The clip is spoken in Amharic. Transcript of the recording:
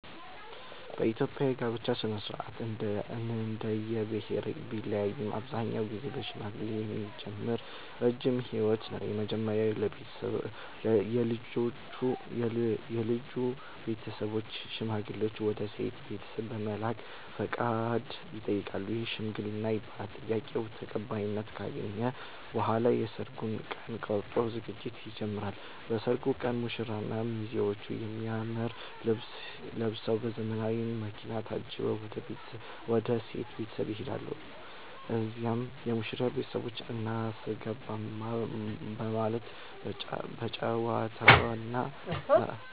በኢትዮጵያ የጋብቻ ሥነ-ሥርዓት እንደየብሄረሰቡ ቢለያይም አብዛኛውን ጊዜ በሽምግልና የሚጀምር ረጅም ሂደት ነው። መጀመሪያ የልጁ ቤተሰቦች ሽማግሌዎችን ወደ ሴቷ ቤት በመላክ ፈቃድ ይጠይቃሉ፤ ይህም "ሽምግልና" ይባላል። ጥያቄው ተቀባይነት ካገኘ በኋላ የሰርግ ቀን ተቆርጦ ዝግጅት ይጀምራል። በሰርጉ ቀን ሙሽራውና ሚዜዎቹ በሚያምር ልብስ ለብሰዉ፤ በዘመናዊ መኪና ታጅበው ወደ ሴቷ ቤት ይሄዳሉ። እዚያም የሙሽሪት ቤተሰቦች "አናስገባም " በማለት በጨዋታና